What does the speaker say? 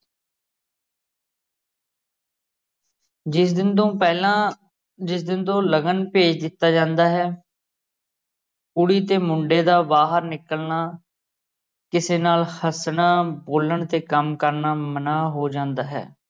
ਜਿਸ ਦਿਨ ਤੋਂ ਪਹਿਲਾ ਜਿਸ ਦਿਨ ਤੋਂ ਲਗਨ ਭੇਜ ਦਿੱਤਾ ਜਾਂਦਾ ਹੈ ਕੁੜੀ ਤੇ ਮੁੰਡੇ ਦਾ ਬਾਹਰ ਨਿਕਲਣਾ ਕਿਸੇ ਨਾਲ ਹੱਸਣਾ, ਬੋਲਣ ਤੇ ਕੰਮ ਕਰਨਾ ਮਨ੍ਹਾਂ ਹੋ ਜਾਂਦਾ ਹੈ।